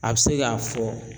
A be se ka fɔ